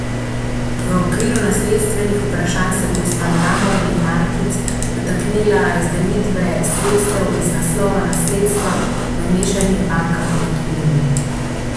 V okviru nasledstvenih vprašanj se bosta Mramor in Marić dotaknila razdelitve sredstev iz naslova nasledstva v mešanih bankah v tujini.